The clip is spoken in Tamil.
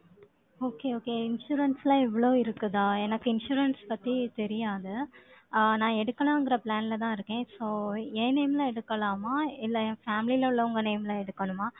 Okay okay insurance லாம் இவ்வளவு இருக்குதா? எனக்கு insurance பத்தி தெரியாது ஆஹ் நான் எடுக்கலாங்கிற plan லதான் இருக்கேன். So என் name ல எடுக்கலாமா? இல்லை, என் family ல உள்ளவங்க name ல எடுக்கணுமா?